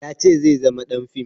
Ya ce zai zama ɗan fim